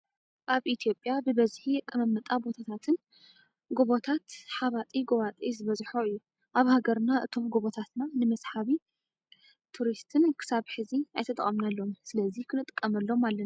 ኣብ ኢትዮጵያ ብበዝሒ ኣቀማምጣ ቦታታትና ጎቦታት ኣባጣጎባጣን ዝበዝሖ እዩ። ኣብ ሃገርና እቶም ጎቦታትና ንመስሓቢ ሃወፅቲ ክሳብ ሕዚ ኣይተጠቀምናሎምን። ስለዚ ክንጥቀመሎም ኣለና።